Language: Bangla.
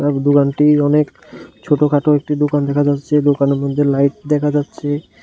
দোকানটি অনেক ছোটখাটো একটি দোকান দেখা যাচ্ছে দোকানের মধ্যে লাইট দেখা যাচ্ছে